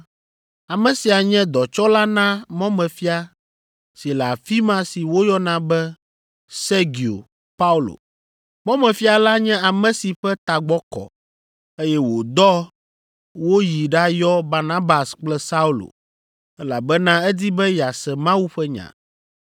Ame sia nye dɔtsɔla na mɔmefia si le afi ma si woyɔna be Sergio Paulo. Mɔmefia la nye ame si ƒe tagbɔ kɔ, eye wòdɔ woyi ɖayɔ Barnabas kple Saulo, elabena edi be yease Mawu ƒe nya.